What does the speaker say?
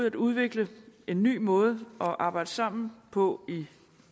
at udvikle en ny måde at arbejde sammen på